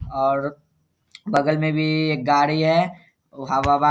और बगल मे भी-इ एक गाड़ी है उ हवा वा --